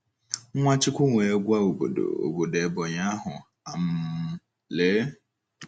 Nwachukwu wee gwa obodo obodo Ebonyi ahu um: “ Lee!